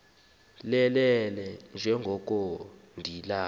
lelele njengoko nidalwe